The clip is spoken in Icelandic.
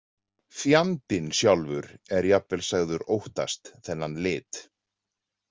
Fjandinn sjálfur er jafnvel sagður óttast þennan lit.